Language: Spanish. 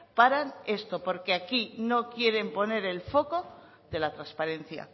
paran esto porque aquí no quieren poner el foco de la transparencia